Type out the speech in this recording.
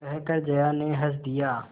कहकर जया ने हँस दिया